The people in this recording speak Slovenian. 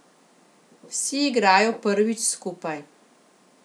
Vsi igrajo prvič skupaj.